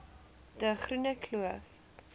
de groene kloof